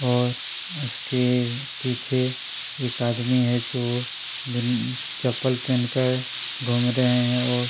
और इसके पीछे एक आदमी है जो नीली बिन चप्पल पहनकर घूम रहे है और--